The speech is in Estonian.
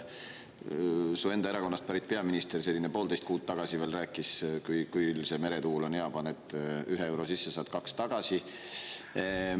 Su enda erakonnast pärit peaminister veel poolteist kuud tagasi rääkis, et küll see meretuul on hea: paned ühe euro sisse, saad kaks tagasi.